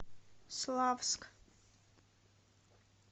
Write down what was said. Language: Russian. славск